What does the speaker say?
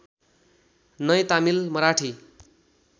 नै तामिल मराठी